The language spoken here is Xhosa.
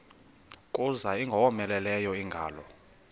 kuza ingowomeleleyo ingalo